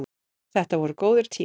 Þetta voru góðir tímar.